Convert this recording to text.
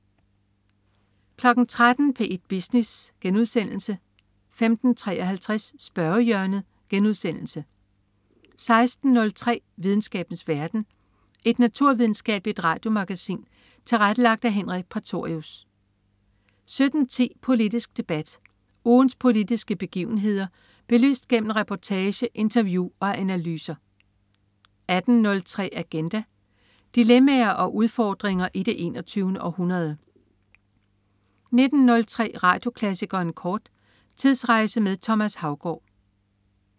13.00 P1 Business* 15.33 Spørgehjørnet* 16.03 Videnskabens verden. Et naturvidenskabeligt radiomagasin tilrettelagt af Henrik Prætorius 17.10 Politisk Debat. Ugens politiske begivenheder belyst gennem reportage, interview og analyser 18.03 Agenda. Dilemmaer og udfordringer i det 21. århundrede 19.03 Radioklassikeren kort. Tidsrejse med Thomas Haugaard